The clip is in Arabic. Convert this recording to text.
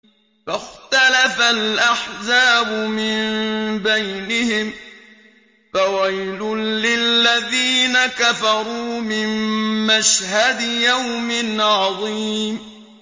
فَاخْتَلَفَ الْأَحْزَابُ مِن بَيْنِهِمْ ۖ فَوَيْلٌ لِّلَّذِينَ كَفَرُوا مِن مَّشْهَدِ يَوْمٍ عَظِيمٍ